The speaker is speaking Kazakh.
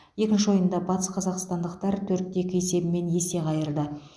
екінші ойында батыс қазақстандықтар төрт те екі есебімен есе қайырды